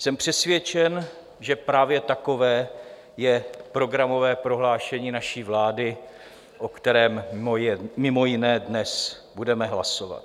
Jsem přesvědčen, že právě takové je programové prohlášení naší vlády, o kterém mimo jiné dnes budeme hlasovat.